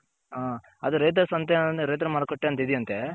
ಅದೆ ರೈತರ ಸಂತೆ ರೈತರ ಮಾರುಕಟ್ಟೆ ಅಂತ ಇದೆ ಅಂತೆ.